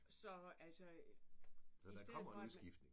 Så altså i stedet for at man